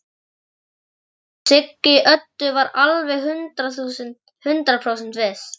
Já, Siggi Öddu var alveg hundrað prósent viss.